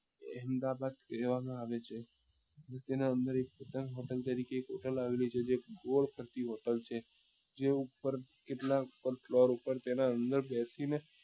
અહેમદાબાદ કહેવા માં આવે છે તેના અંદર એક પતંગ hotel તરીકે એક hotel આવેલી છે તે એક ગોળ hotel છે જે ઉપર કેટલા floor ઉપર તેના અંદર બેસી ને